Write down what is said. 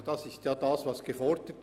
Das wurde gefordert.